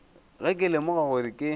ge ke lemoga gore ke